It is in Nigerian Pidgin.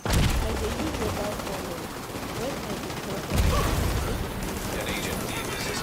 i dey use rubber funnel when i dey pour chemical make e no pour.